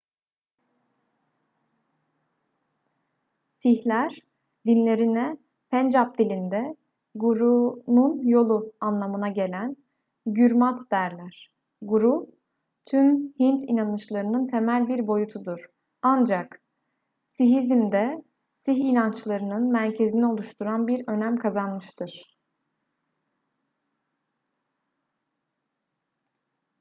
sihler dinlerine pencap dilinde gurunun yolu anlamına gelen gürmat derler guru tüm hint inanışlarının temel bir boyutudur ancak sihizmde sih inançlarının merkezini oluşturan bir önem kazanmıştır